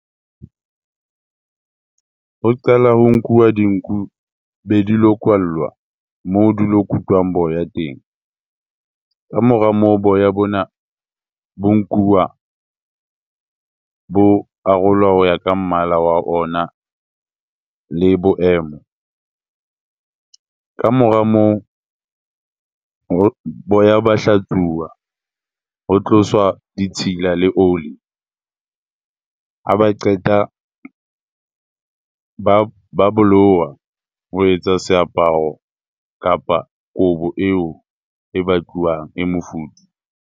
Ho qala ho nkuwa dinku be dilo kwallwa moo dilo kutwang boya teng. Kamora moo, boya bona bo nkuwa bo arolwa ho ya ka mmala wa ona le boemo. Kamora moo boya ba hlatsuwa, ho tloswa ditshila le oli. Ha ba qeta ba bo lowa ho etsa seaparo kapa kobo eo e batluwang, e mofuthu.